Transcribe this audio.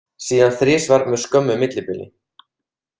Síðan þrisvar með skömmu millibili.